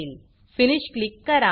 finish click करा